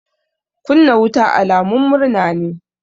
Kunna wuta alamun murna ne.